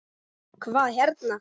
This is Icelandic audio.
Hvað hérna.